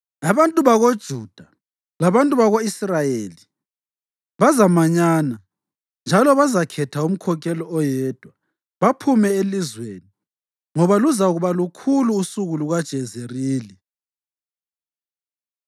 Abantu bakoJuda labantu bako-Israyeli bazamanyana, njalo bazakhetha umkhokheli oyedwa baphume elizweni, ngoba luzakuba lukhulu usuku lukaJezerili.”